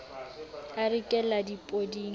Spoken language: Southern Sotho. a re ke la dipoding